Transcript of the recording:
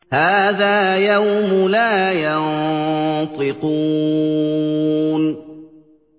هَٰذَا يَوْمُ لَا يَنطِقُونَ